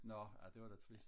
nå ej det var da trist